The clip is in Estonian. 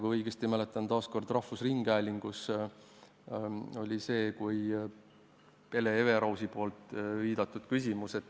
Kui ma õigesti mäletan, siis ilmus see taas kord rahvusringhäälingu vahendusel, ja sellele viitas ka Hele Everaus oma küsimuses.